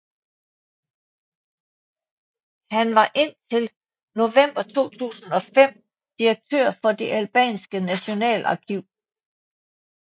Han var indtil november 2005 direktør for Det Albanske Nationalarkiv